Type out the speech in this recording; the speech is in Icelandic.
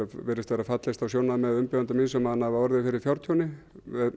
virðist vera fallist á sjónarmið umbjóðanda míns um að hann hafi orðið fyrir fjártjóni